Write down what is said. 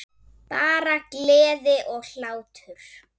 Bara gleði og hlátur.